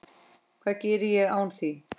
Hvað geri ég án þín?